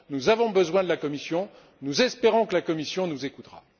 Nous avons besoin de la Commission, nous espérons que la Commission nous écoutera.